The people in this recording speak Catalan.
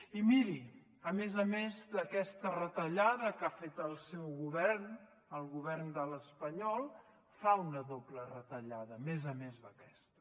i miri a més a més d’aquesta retallada que ha fet el seu govern el govern espanyol fa una doble retallada a més a més d’aquesta